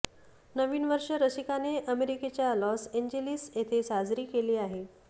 नवीन वर्ष रसिकाने अमेरिकेच्या लॉस एंजेलिस येथे साजरी केले आहे